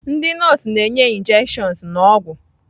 Ndị nọọsụ na-enye injections na ọgwụ.